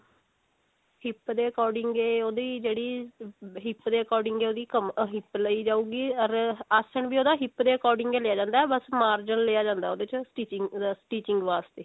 hip ਦੇ according ਇਹ ਉਹਦੀ ਜਿਹੜੀ hip ਦੇ according ਹੈ ਉਹ ਓਹਦੀ hip ਲਈ ਜਾਉਗੀ ਅਰ ਆਸਨ ਵੀ ਉਹਦਾ hip ਦੇ according ਲਿਆ ਜਾਂਦਾ ਹੈ ਬਸ ਮਾਰਜਨ ਲਿਆ ਜਾਂਦਾ ਹੈ ਉਹਦੇ ਵਿੱਚ stich stitching ਵਾਸਤੇ